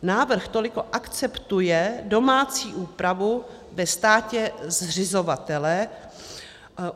Návrh toliko akceptuje domácí úpravu ve státě zřizovatele.